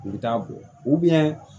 U bɛ taa bɔn